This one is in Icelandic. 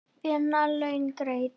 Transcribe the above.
Vinnu laun greidd.